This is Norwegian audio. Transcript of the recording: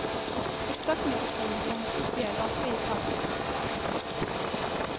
Opptaksmikrofonen ble hengt opp i ei lampe i taket.